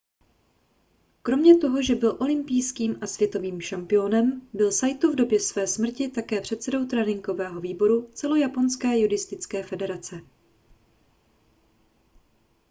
kromě toho že byl olympijským a světovým šampiónem byl saito v době své smrti také předsedou tréninkového výboru celojaponské judistické federace